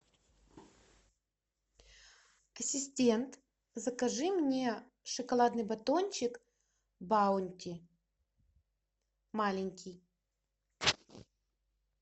ассистент закажи мне шоколадный батончик баунти маленький